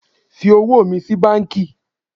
Fi owó mi sí banki